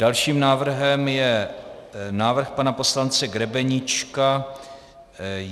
Dalším návrhem je návrh pana poslance Grebeníčka.